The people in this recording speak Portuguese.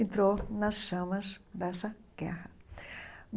Entrou nas chamas dessa guerra.